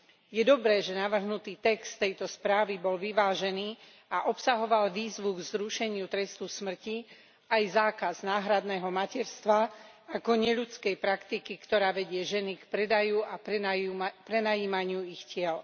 Je dobré, že navrhnutý text tejto správy bol vyvážený a obsahoval výzvu k zrušeniu trestu smrti, aj zákaz náhradného materstva ako neľudskej praktiky, ktorá vedie ženy k predaju a prenajímaniu svojich tiel.